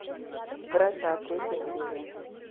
вражда третья серия